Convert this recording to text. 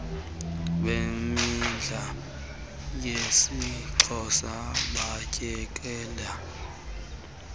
bemidlalo yesixhosa batyekele